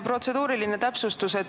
Protseduuriline täpsustus.